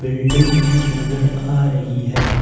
Building भी नजर आ रही है।